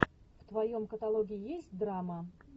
в твоем каталоге есть драма